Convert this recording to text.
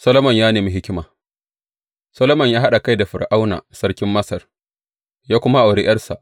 Solomon ya nemi hikima Solomon ya haɗa kai da Fir’auna sarkin Masar, ya kuwa auri ’yarsa.